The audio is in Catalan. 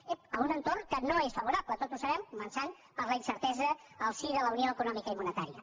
ep en un entorn que no és favorable tots ho sabem començant per la incertesa en el si de la unió econòmica i monetària